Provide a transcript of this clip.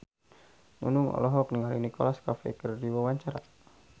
Nunung olohok ningali Nicholas Cafe keur diwawancara